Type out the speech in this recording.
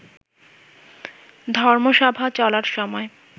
ধর্মসভা চলার সময়